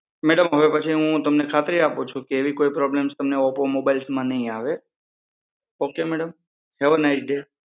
madam હવે પછી હું તમને ખાતરી આપું છુ કે હવે પછી તમને ઓપ્પો mobiles માં નહિ આવે ok madam, have a nice day